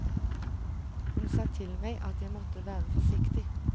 Hun sa til meg at jeg måtte være forsiktig.